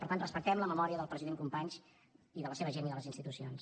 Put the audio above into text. per tant respectem la memòria del president companys i de la seva gent i de les institucions